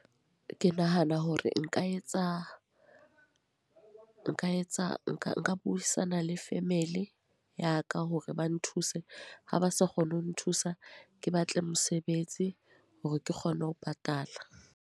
Ke nahana hore nka etsa, nka etsa nka nka buisana le family ya ka hore ba nthuse. Ha ba sa kgone ho nthusa. Ke batle mosebetsi, hore ke kgone ho patala.